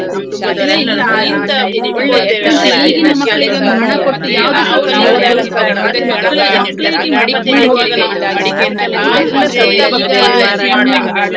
ಸ್~ ಶಾಲೆ, ಅದ ಹ್ಮ್ ಒಳ್ಳೆ ಎಲ್ಲಾ ಸ್~ ಎಲ್ಲಾ ಶಾಲೆಸಾ ಅಲ್ಲಿಯ ಅಲ್ಲಿಯ ಒಂದು ಶಾಲೆ ಆಗಿರ್ಬೋದು, ಅಲ್ಲಿಯ ಒಂದು ಹ್ಮ್ ನಮ್ಮ play ಇದಾಗಿರ್ಬೋದು ಪೂರ ಎಲ್ಲಾಸಾ ಒಳ್ಳೆದ್ ಒಳ್ಳೆದುಂಟು ಅಲ್ಲಿ.